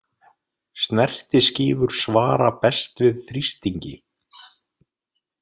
Snertiskífur svara best við þrýstingi.